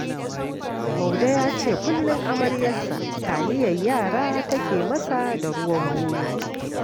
Maude ya ce kullum amaryarsa taliyar yara take yi masa da ruwan bunu.